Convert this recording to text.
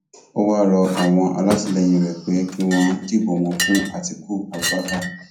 ó wáá rọ àwọn alátìlẹyìn rẹ pé kí wọn dìbò wọn fún àtikukú abubakar